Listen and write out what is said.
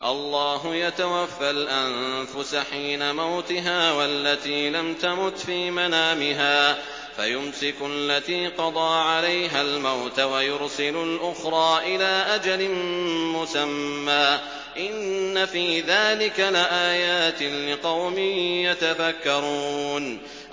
اللَّهُ يَتَوَفَّى الْأَنفُسَ حِينَ مَوْتِهَا وَالَّتِي لَمْ تَمُتْ فِي مَنَامِهَا ۖ فَيُمْسِكُ الَّتِي قَضَىٰ عَلَيْهَا الْمَوْتَ وَيُرْسِلُ الْأُخْرَىٰ إِلَىٰ أَجَلٍ مُّسَمًّى ۚ إِنَّ فِي ذَٰلِكَ لَآيَاتٍ لِّقَوْمٍ يَتَفَكَّرُونَ